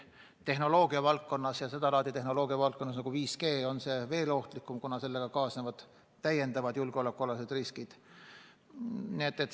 Tehnoloogia valdkonnas ja eriti seda laadi tehnoloogia valdkonnas, nagu 5G, on see veel ohtlikum, kuna sellega kaasnevad täiendavad julgeolekuriskid.